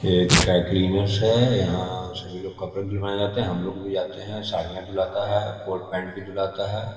यह एक dry cleaners है यहाँ सभी लोग कपड़े धुलवाए जाते है हम लोग भी जाते है साड़ियाँ धुलवाते है कोट पेंट भी धुलवाते है ।.